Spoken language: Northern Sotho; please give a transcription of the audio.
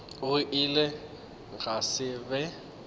go ile gwa se be